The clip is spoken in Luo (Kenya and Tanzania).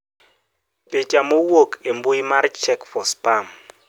Picha mowuok embui mar Check4Spam.